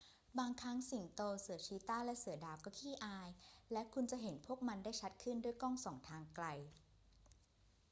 บางครั้งสิงโต เสือชีตาห์ และเสือดาว ก็ขี้อาย และคุณจะเห็นพวกมันได้ชัดขึ้นด้วยกล้องส่องทางไกล